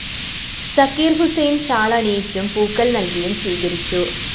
Zakir‍ Hussain‍ shawl അണിയിച്ചും പൂക്കള്‍ നല്‍കിയും സ്വീകരിച്ചു